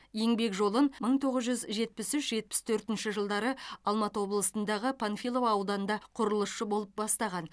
еңбек жолын мың тоғыз жүз жетпіс үш жетпіс төртінші жылдары алматы облысындағы панфилов ауданында құрылысшы болып бастаған